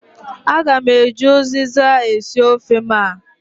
Aga m eji uziza esi ofe m a.